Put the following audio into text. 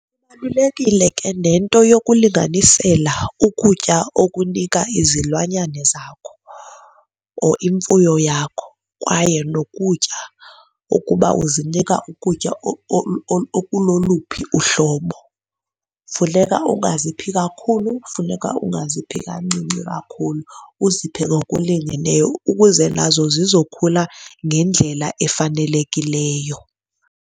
Ibalulekile ke nento yokulinganisela ukutya okunika izilwanyane zakho or imfuyo yakho kwaye nokutya okuba uzinika ukutya okuloluphi uhlobo. Funeka ungaziphi kakhulu, funeka ungaziphi kancinci kakhulu, uziphe ngokulingeneyo ukuze nazo zizokhula ngendlela efanelekileyo.